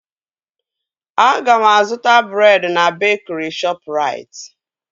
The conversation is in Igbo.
Aga m azụta breed na bekri Shọpụrait